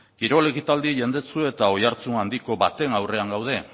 kirol ekitaldi jendetsu eta oihartzun handiko baten aurrean gaude